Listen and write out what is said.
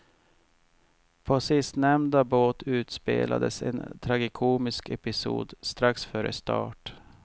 På sistnämnda båt utspelades en tragikomisk episod strax före start.